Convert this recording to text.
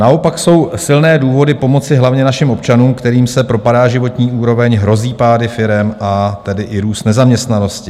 Naopak jsou silné důvody pomoci hlavně našim občanům, kterým se propadá životní úroveň, hrozí pády firem, a tedy i růst nezaměstnanosti.